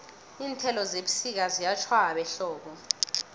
iinthelo zebusika ziyatjhwaba ehlobo